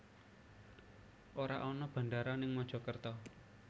Ora ana bandara ning Mojokerto